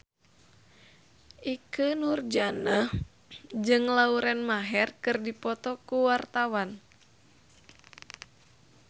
Ikke Nurjanah jeung Lauren Maher keur dipoto ku wartawan